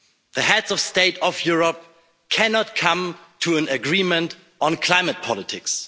The heads of state of Europe cannot come to an agreement on climate politics.